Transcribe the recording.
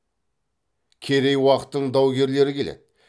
керей уақтың даугерлері келеді